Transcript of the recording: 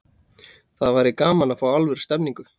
Það væri gaman að fá alvöru stemningu.